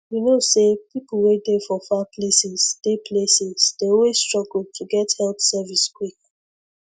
you know say people wey dey for far places dey places dey always struggle to get health service quick